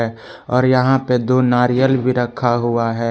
और यहां पे दो नारियल भी रखा हुआ है।